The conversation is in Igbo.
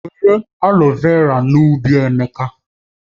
Were aloe vera n'ubi Emeka